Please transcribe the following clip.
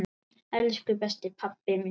Elsku besti pabbi minn.